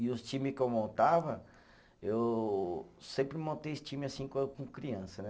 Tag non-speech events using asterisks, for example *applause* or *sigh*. E os time que eu montava, eu sempre montei *unintelligible* time assim com com criança, né?